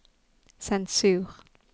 sensur